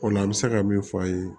O la an bɛ se ka min f'a ye